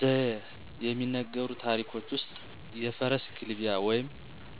ዘዬ የሚነገሩ ታሪኮች ዉስጥ የፈረስ ግልቢያ ወይም